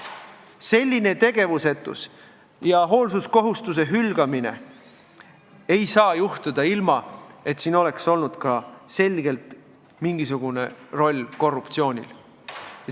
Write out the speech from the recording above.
Selline tegevusetus ja hoolsuskohustuse hülgamine ei saa juhtuda, ilma et siin oleks selgelt olnud mingisugune roll korruptsioonil.